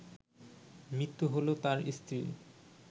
মৃত্যু হলো তার স্ত্রীর